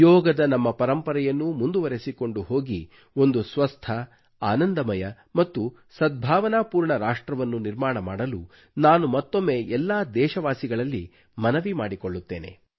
ಯೋಗದ ನಮ್ಮ ಪರಂಪರೆಯನ್ನು ಮುಂದುವರೆಸಿಕೊಂಡು ಹೋಗಿ ಒಂದು ಸ್ವಸ್ಥ ಆನಂದಮಯ ಮತ್ತು ಸದ್ಭಾವನಾಪೂರ್ಣ ರಾಷ್ಟ್ರವನ್ನು ನಿರ್ಮಾಣ ಮಾಡಲು ನಾನು ಮತ್ತೊಮ್ಮೆ ಎಲ್ಲಾ ದೇಶವಾಸಿಗಳಲ್ಲಿ ಮನವಿ ಮಾಡಿಕೊಳ್ಳುತ್ತೇನೆ